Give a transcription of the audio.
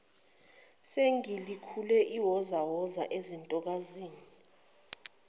singelikhulu iwozawoza ezintokazini